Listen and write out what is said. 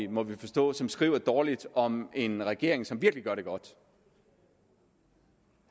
må vi forstå som skriver dårligt om en regering som virkelig gør det godt